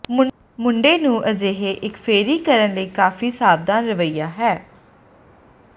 ਮੁੰਡੇ ਨੂੰ ਅਜਿਹੇ ਇੱਕ ਫੇਰੀ ਕਰਨ ਲਈ ਕਾਫ਼ੀ ਸਾਵਧਾਨ ਰਵੱਈਆ ਹੈ